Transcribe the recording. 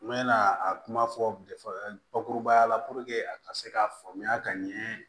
N bɛna a kuma fɔ bakurubaya la a ka se k'a faamuya ka ɲɛ